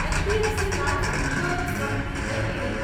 HDFC life insurance company LTD